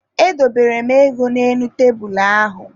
Edobere m ego n'elu tebulu ahụ.